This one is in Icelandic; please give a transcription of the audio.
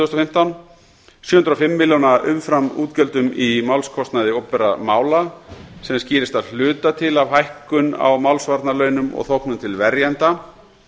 fimmtán sjö hundruð og fimm milljóna umframútgjöldum í málskostnaði opinberra mála sem skýrist að hluta til af hækkun á málsvarnarlaunum og þóknunum til verjenda